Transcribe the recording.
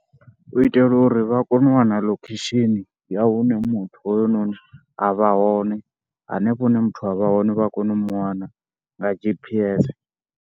U itela uri vha kone u wana location ya hune muthu hoyunoni a vha hone hanefho hune muthu a vha hone vha ya kona u mu wana nga G_P_S.